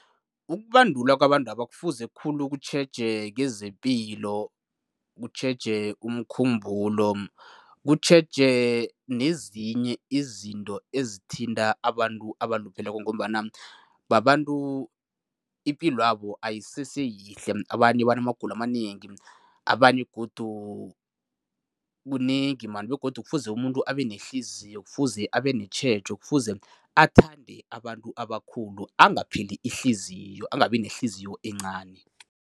Ukubandulwa kwabantaba kufuze khulu kutjheje kezepilo, kutjheje umkhumbulo, kutjheje nezinye izinto ezithinta abantu abalupheleko ngombana babantu ipilwabo ayiseseyihle. Abanye banamagulo amanengi, abanye godu kunengi man begodu kufuze umuntu abenehliziyo, kufuze abenetjhejo, kufuze athande abantu abakhulu, angapheli ihliziyo, angabi nehliziyo encani.